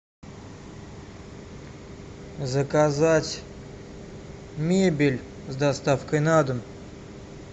заказать мебель с доставкой на дом